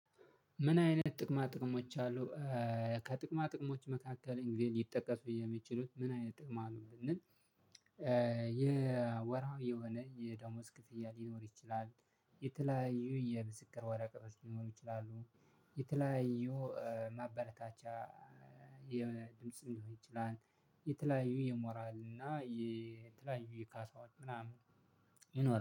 ምን አይነት ጥቅማ ጥቅሞች አሉ። ከጥቅማ ጥቅሞችህ መካከል ሊጠቀሱ ሚችሉ መን አይነት ጥቅም አለው ብንል የወርሃው የሆነ የደሞዝ ክፍያ ሊኖር ይችላል የተለያዩ የምስክር ወረቀት ሊኖሩ ይችላሉ የተለያዩ ማበረታቻ የድምጽ ሊሆን ይችላል የተለያዩ የሞራል እና የተለያዩ የካሳዎች ምናምን ይኖራል